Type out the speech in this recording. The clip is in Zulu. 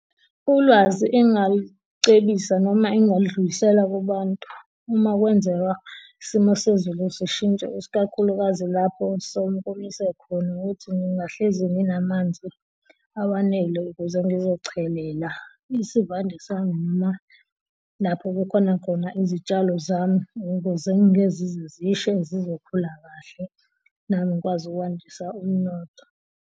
Ulwazi engingalicebisa noma engingadlulisela kubantu uma kwenzeka isimo sezulu sishintsha usikakhulukazi lapho sekomise khona ukuthi ngingahlezi nginamanzi awanele ukuze ngizochelela. Isivande sami noma lapho kukhona khona izitshalo zami ukuze kungeke zize zishe zizokhula kahle, nami ngikwazi ukwandisa umnotho.